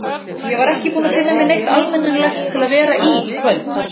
Ég var ekki búin að finna mér neitt almennilegt til að vera í í kvöld.